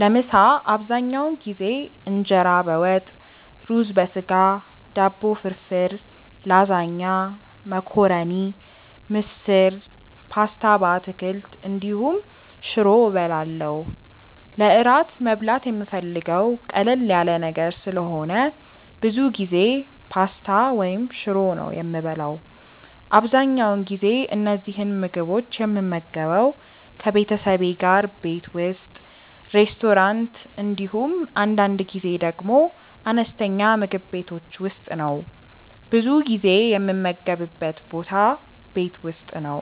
ለምሳ አብዛኛውን ጊዜ እንጀራ በወጥ፣ ሩዝ በስጋ፣ ዳቦ ፍርፍር፣ ላዛኛ፣ መኮረኒ፣ ምስር፣ ፓስታ በአትክልት እንዲሁም ሽሮ እበላለሁ። ለእራት መብላት የምፈልገው ቀለል ያለ ነገር ስለሆነ ብዙ ጊዜ ፓስታ ወይም ሽሮ ነው የምበላው። አብዛኛውን ጊዜ እነዚህን ምግቦች የምመገበው ከቤተሰቤ ጋር ቤት ውስጥ፣ ሬስቶራንት እንዲሁም አንዳንድ ጊዜ ደግሞ አነስተኛ ምግብ ቤቶች ውስጥ ነው። ብዙ ጊዜ የምመገብበት ቦታ ቤት ውስጥ ነው።